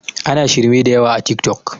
ana shirme da yawa a tik tok